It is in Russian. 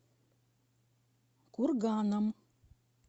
курганом